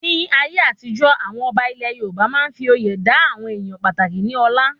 Ní ayé àtijọ́, àwọn ọba ilẹ Yorùbá máa n fí oyè dá àwọn ènìyàn pàtàkì ní ọlá